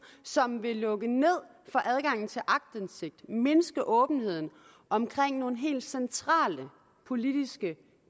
som vil lukke ned for adgangen til aktindsigt mindske åbenheden omkring nogle helt centrale politiske